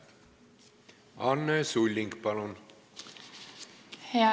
Anne Sulling, palun!